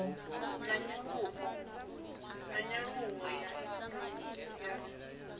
na nyaluwo ya ikonomi ya